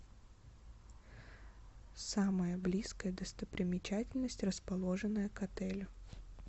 самая близкая достопримечательность расположенная к отелю